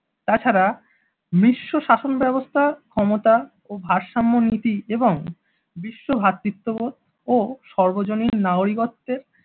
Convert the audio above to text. তাছাড়া মিশ্র শাসন ব্যবস্থা ক্ষমতা ও ভারসাম্য নীতি এবং বিশ্ব ভ্রাতৃত্ব ও সর্বজনীন নাগরিকত্বের